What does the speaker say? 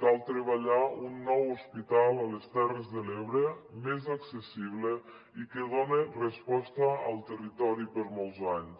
cal treballar un nou hospital a les terres de l’ebre més accessible i que done resposta al territori per molts anys